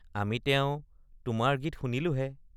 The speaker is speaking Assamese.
আমি তেও তোমাৰ গীত শুনিলোহে।